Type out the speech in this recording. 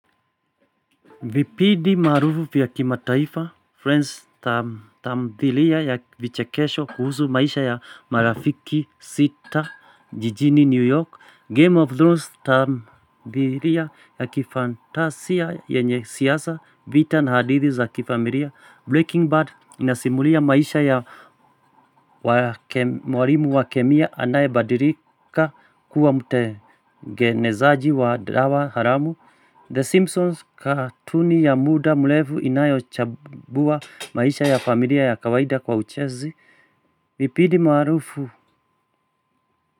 Vipidi maarufu vya kimataifa, friends tamdhilia ya vichekesho kuhusu maisha ya marafiki sita jijini New York, Game of Thrones tamdhilia ya kifantasia yenye siasa vita na hadithi za kifamiria, Breaking Bad inasimulia maisha ya mwalimu wa kemia anaye badilika kuwa mtengenezaji wa dawa haramu, The Simpsons katuni ya muda mlevu inayochambua maisha ya familia ya kawaida kwa uchezi, vipidi maarufu.